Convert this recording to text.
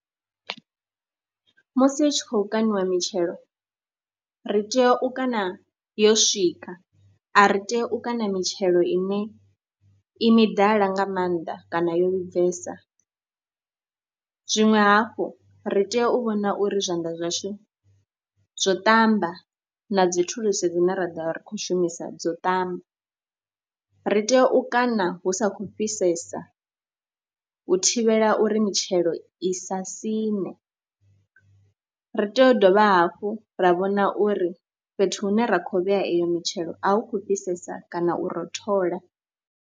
Musi hu tshi khou kaṋiwa mitshelo ri tea u kana yo swika, a ri tea u kaṋa mitshelo ine i midala nga maanḓa kana yo vhibvesa. Zwiṅwe hafhu, ri tea u vhona uri zwanḓa zwashu zwo ṱamba na dzi thulusi dzine ra ḓo vha ri khou shumisa dzo ṱamba. Ri tea u kaṋa hu sa khou fhisesa u thivhela uri mitshelo i sa siṋe, ri tea u dovha hafhu ra vhona uri fhethu hune ra khou vhea iyo mitshelo a hu khou fhisesa kana u rothola.